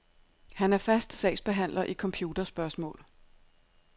Han er fast sagsbehandler i computerspørgsmål.